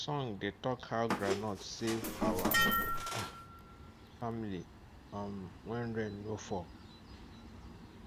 song dey talk how groundnut save our um family um when rain no fall